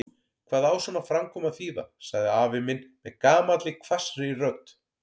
Hvað á svona framkoma að þýða? sagði afi minn með gamalli hvassri rödd.